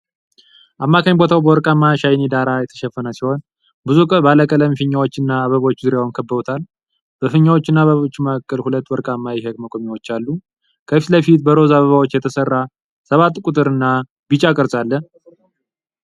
አማካኝ ቦታው በወርቃማ ሻይኒ ዳራ የተሸፈነ ሲሆን፣ ብዙ ባለቀለም ፊኛዎችና አበቦች ዙሪያውን ከብበውታል። በፊኛዎቹና በአበቦቹ መካከል ሁለት ወርቃማ የኬክ መቆሚያዎች አሉ። ከፊት ለፊት በሮዝ አበባዎች የተሠራ ሰባት ቁጥር እና ቢጫ ቅርጽ አለ።